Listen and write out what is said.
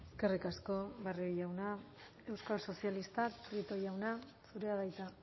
eskerrik asko barrio jauna euskal sozialistak prieto jauna zurea da hitza